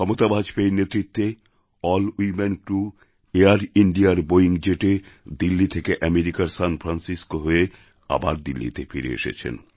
ক্ষমতা বাজপেয়ীর নেতৃত্বে এএলএল ওয়ামেন ক্রু এয়ার ইণ্ডিয়ার বোয়িং জেটে দিল্লি থেকে আমেরিকার সান ফ্রান্সিসকো হয়ে আবার দিল্লিতে ফিরে এলেন